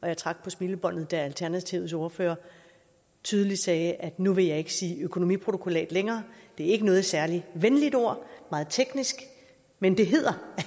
jeg trak på smilebåndet da alternativets ordfører tydeligt sagde at nu ville han ikke sige økonomiprotokollat længere det er ikke noget særlig venligt ord meget teknisk men det hedder